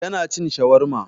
Yana cin shawarma.